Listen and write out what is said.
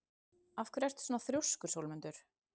Af hverju ertu svona þrjóskur, Sólmundur?